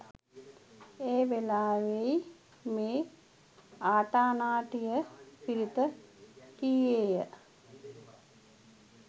ඒ වේලාවෙහි මේ ආටානාටිය පිරිත කීයේය.